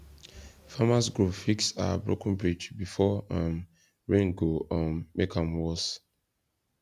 farmers group fix our broken bridge before um rain go um make am worse